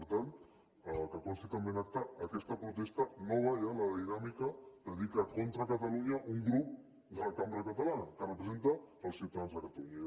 per tant que consti també en acta aquesta protesta nova ja la de la dinàmica de dir que contra catalunya un grup de la cambra catalana que representa els ciutadans de catalunya